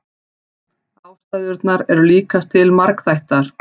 Ástæðurnar eru líkast til margþættar.